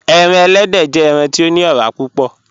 Ẹran èlẹ́dẹ jẹ̀ ẹran ti o ni ọ̀rà púpọ̀.